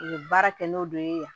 U ye baara kɛ n'o de ye yan